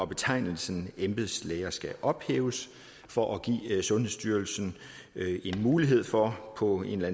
betegnelsen embedslæge skal ophæves for at give sundhedsstyrelsen en mulighed for på en eller